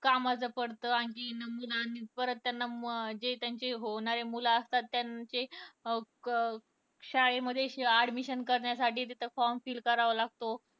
कामाचं पडत. परत त्यांना जे त्यांचे होणारी मुलं असतात त्यांचे शाळेमध्ये admission करण्यासाठी तिथं form fill करावं लागतो.